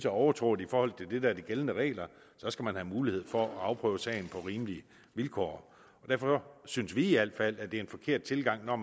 overtrådt i forhold til det der er de gældende regler så skal man have mulighed for at afprøve sagen på rimelige vilkår derfor synes vi i al fald at det er en forkert tilgang når